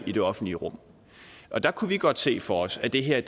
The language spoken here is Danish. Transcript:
i det offentlige rum der kunne vi godt se for os at det her